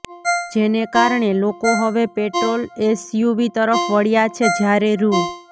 જેને કારણે લોકો હવે પેટ્રોલ એસયુવી તરફ વળ્યા છે જ્યારે રૂ